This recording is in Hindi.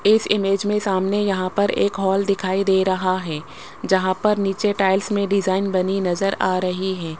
इस इमेज में सामने यहां पर एक हॉल दिखाई दे रहा है। जहां पर नीचे टाइल्स में डिजाइन बनी नजर आ रही है।